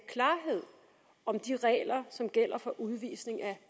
klarhed om de regler som gælder for udvisning af